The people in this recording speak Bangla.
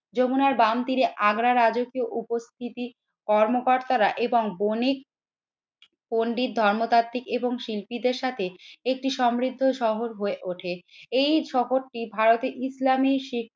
যমুনার বাম তিরে আগ্রার রাজকীয় উপস্থিতি কর্মকর্তারা এবং বণিক পন্ডিত ধর্মতাত্ত্বিক এবং শিল্পীদের সাথে একটি সমৃদ্ধ শহর হয়ে ওঠে। এই শহরটি ভারতে ইসলামি শিখ